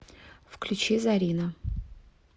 включи зарина